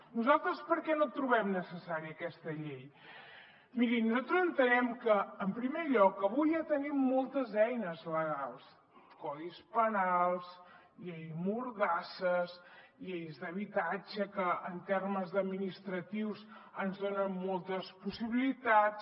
nosaltres per què no trobem necessària aquesta llei mirin nosaltres entenem que en primer lloc avui ja tenim moltes eines legals codis penals llei mordassa lleis d’habitatge que en termes administratius ens donen moltes possibilitats